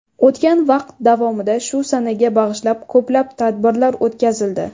O‘tgan vaqt davomida shu sanaga bag‘ishlab ko‘plab tadbirlar o‘tkazildi.